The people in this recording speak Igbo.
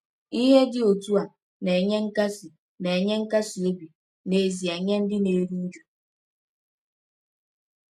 Ihe dị otu a na-enye nkasi na-enye nkasi obi n’ezie nye ndị na-eru uju.